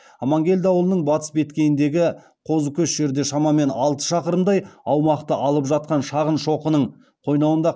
амангелді ауылының батыс беткейіндегі қозыкөш жерде шамамен алты шақырымдай аумақты алып жатқан шағын шоқының қойнауында